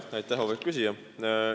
Aitäh, auväärt küsija!